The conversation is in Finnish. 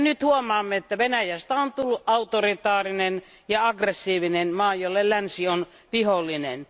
Ja nyt huomaamme, että Venäjästä on tullut autoritaarinen ja aggressiivinen maa, jolle länsi on vihollinen.